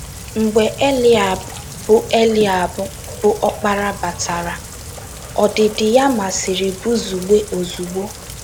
Mgbe Eliab, bụ́ Eliab, bụ́ ọkpara, batara, ọdịdị ya masịrị Buzugbe ozugbo.